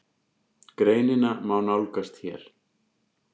Greinina má nálgast hér